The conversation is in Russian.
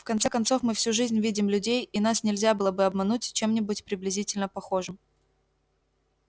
в конце концов мы всю жизнь видим людей и нас нельзя было бы обмануть чем-нибудь приблизительно похожим